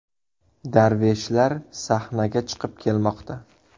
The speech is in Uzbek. Darveshlar sahnaga chiqib kelmoqda.